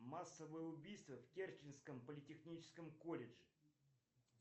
массовые убийства в керченском политехническом колледже